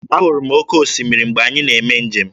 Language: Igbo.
Ahụrụ m oke osimiri mgbe anyị na-eme njem.